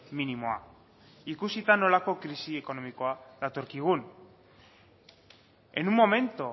minimoa ikusita nolako krisi ekonomikoa datorkigun en un momento